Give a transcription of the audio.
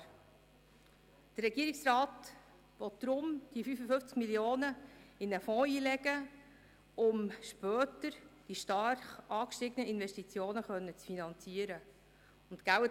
Der Regierungsrat will deshalb die 55 Mio. Franken in einen Fonds einlegen, um später die stark angestiegenen Investitionen finanzieren zu können.